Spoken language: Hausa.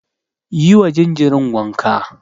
Yi wa jinjirin wanka.